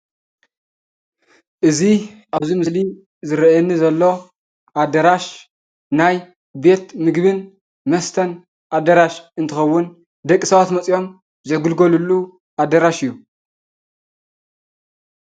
እዚ ኣብ እዚ ምስሊ ዝርኣየኒ ዘሎ ኣዳራሽ ናይ ቤት ምግብን መስተን ኣዳራሽ እንትኸዉን ደቂ ሰባት መፂኦም ዝግልገልሉ ኣዳራሽ እዩ።